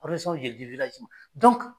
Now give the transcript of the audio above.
de bi wilaji man